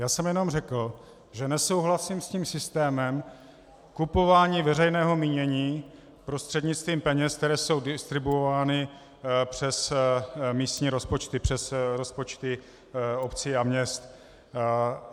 Já jsem jenom řekl, že nesouhlasím s tím systémem kupování veřejného mínění prostřednictvím peněz, které jsou distribuovány přes místní rozpočty, přes rozpočty obcí a měst.